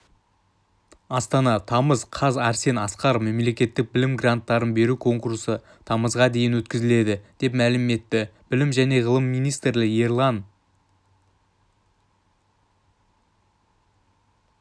астана тамыз қаз арсен асқаров мемлекеттік білім гранаттарын беру конкурсы тамызға дейін өткізіледі деп мәлім етті білім және ғылым министрі ерлан